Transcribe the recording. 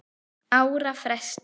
ára fresti.